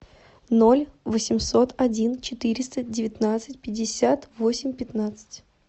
ноль восемьсот один четыреста девятнадцать пятьдесят восемь пятнадцать